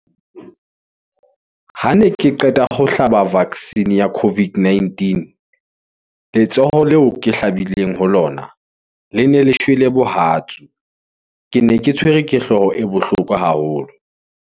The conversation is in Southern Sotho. ha ne ke qeta ho hlaba vaccine ya COVID-19 , letsoho leo ke hlabileng ho lona le ne le shwele bohatsu , ke ne ke tshwerwe ke hloho e bohloko haholo.